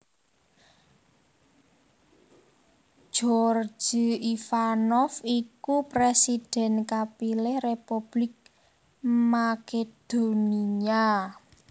Gjorge Ivanov iku présidhèn kapilih Republik Makedonia